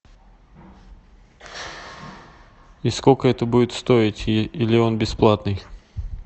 и сколько это будет стоить или он бесплатный